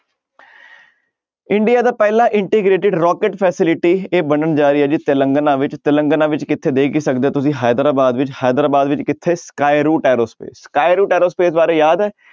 India ਦਾ ਪਹਿਲਾ integrated rocket facility ਇਹ ਬਣਨ ਜਾ ਰਹੀ ਹੈ ਜੀ ਤਿਲੰਗਨਾ ਵਿੱਚ ਤਿਲੰਗਨਾ ਵਿੱਚ ਕਿੱਥੇ ਦੇਖ ਹੀ ਸਕਦੇ ਹੋ ਤੁਸੀਂ ਹੈਦਰਾਬਾਦ ਵਿੱਚ ਹੈਦਰਾਬਾਦ ਵਿੱਚ ਕਿੱਥੇ ਕਾਊਰੂ ਟੈਰੋਸਪੇਸ ਕਾਊਰੂ ਟੈਰੋਸਪੇਸ ਬਾਰੇ ਯਾਦ ਹੈ